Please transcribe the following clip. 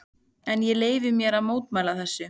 En ég leyfi mér að mótmæla þessu.